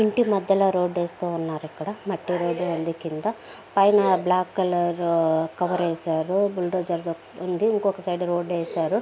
ఇంటి మద్యలా రోడ్డు వేస్తూ ఉన్నారు ఇక్కడ మట్టి రోడ్డు ఉంది కింద పైన బ్లాక్ కలర్ కవర్ వేసారు బుల్డోజర్ ఉంది ఇంకొక సైడు రోడ్డు వేసారు.